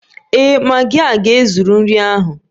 Ee, magi a ga-ezuru nri ahụ